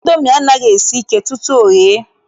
Indomi anaghị esi ike tutu o ghee.